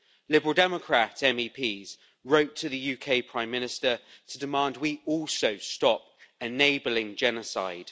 Liberal Democrat MEPs wrote to the UK Prime Minister to demand we also stop enabling genocide.